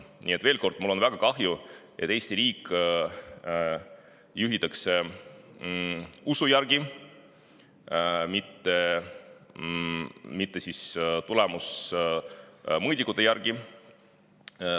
Nii et veel kord: mul on väga kahju, et Eesti riiki juhitakse usu järgi, mitte tulemusmõõdikute järgi.